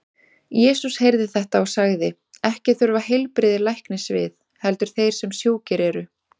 Jesús heyrði þetta og sagði: Ekki þurfa heilbrigðir læknis við, heldur þeir sem sjúkir eru.